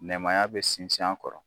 Nɛmaya bɛ sinsin a kɔrɔ.